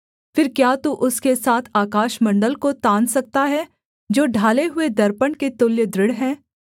फिर क्या तू उसके साथ आकाशमण्डल को तान सकता है जो ढाले हुए दर्पण के तुल्य दृढ़ है